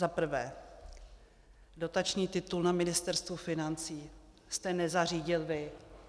Za prvé, dotační titul na Ministerstvu financí jste nezařídil vy.